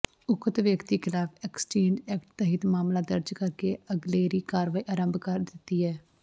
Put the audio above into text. ਉਕਤ ਵਿਅਕਤੀ ਖਿਲਾਫ਼ ਐਕਸਾਇਜ਼ ਐਕਟ ਤਹਿਤ ਮਾਮਲਾ ਦਰਜ਼ ਕਰਕੇ ਅਗਲੇਰੀ ਕਾਰਵਾਈ ਆਰੰਭ ਦਿੱਤੀ ਹੈ